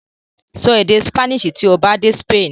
Sọ èdè Spanish tí ó bá dé Spain!